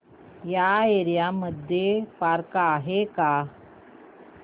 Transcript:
या एरिया मध्ये पार्क आहे का